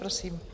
Prosím.